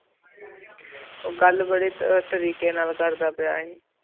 ਉੱਗ ਗੱਲ ਬਾਰੇ ਤਰੀਕੇ ਨਾਲ ਕਰਦਾ ਪਿਆ ਸੀ